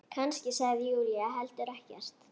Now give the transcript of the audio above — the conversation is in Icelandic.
Kannski sagði Júlía heldur ekkert.